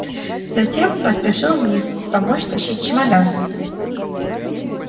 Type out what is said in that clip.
затем поспешил вниз помочь тащить чемодан